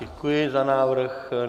Děkuji za návrh.